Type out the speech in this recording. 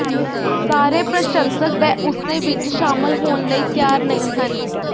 ਸਾਰੇ ਪ੍ਰਸ਼ੰਸਕ ਬੈਓਂਸੇ ਵਿਚ ਸ਼ਾਮਲ ਹੋਣ ਲਈ ਤਿਆਰ ਨਹੀਂ ਹਨ